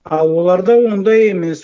а оларда ондай емес